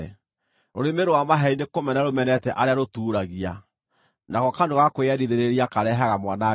Rũrĩmĩ rwa maheeni nĩkũmena rũmenete arĩa rũtuuragia, nako kanua ga kwĩyendithĩrĩria karehaga mwanangĩko.